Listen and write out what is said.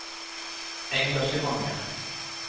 engasjementer